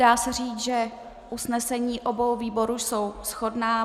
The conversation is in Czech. Dá se říct, že usnesení obou výborů jsou shodná.